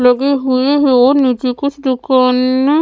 लगे हुए है और नीचे कुछ दुकाननं --